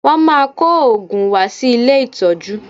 Wọ́n máa kó òògùn wá sí ilé ìtọ́jú